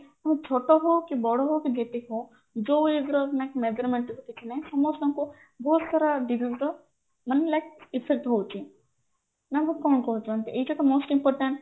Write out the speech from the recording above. ଛୋଟ ହଉ କି ବଡ ହଉ କି ଯେତିକି ହଉ ଯୋଉ age ର like measurement ତ କିଛି ନାହିଁ ସମସସ୍ତଙ୍କୁ ବହୁତ ସାରା ମାନେ like ନା ଆଉ କଣ କହୁଛନ୍ତି ଏଇଟା most important